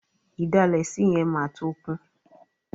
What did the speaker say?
Ìdalẹ̀ sí yẹn máa tó kún.